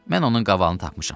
Mən onun qavalını tapmışam.